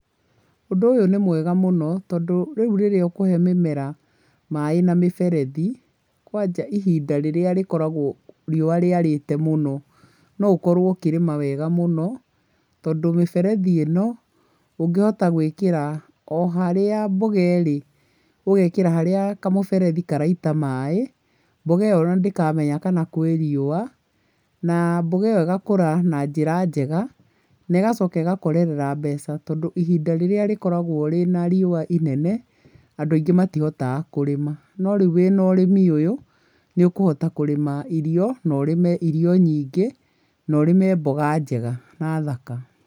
Ũndũ ũyũ nĩmwega mũno tondũ rĩu rĩrĩa ũkũhe mĩmera maĩ na mĩberethi kwanja ihinda rĩrĩa mahinda marĩa riũa rĩkoragwo rĩarĩte mũno, noũkorwo ũkĩrĩma wega mũno . Tondũ mĩberethi ĩno ũngĩhota gũĩkĩra oharĩa mboga ĩrĩ, ũgekĩra harĩa kamũberethi karaita maĩ, mboga ĩo ona ndĩkamenya kana kwĩ riũa. Na mboga ĩgakũra na njĩra njega negacoka ĩgakorera mbeca tondũ ihinda rĩrĩa rĩkoragwo rĩna riũa rĩnene, andũ aingĩ matihotaga kũrĩma. Norĩu wĩna ũrĩmi ũyũ nĩũkũhota kũrĩma irio noũrĩme irio nyingĩ. Norĩme mboga nyingĩ na thaka.